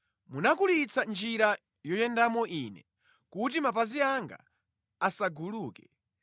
Munakulitsa njira yoyendamo ine, kuti mapazi anga asaguluke.